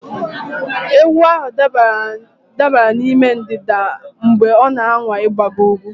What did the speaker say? Ewu ahụ dabara n'ime ndịda mgbe ọ na-anwa ịgbago ugwu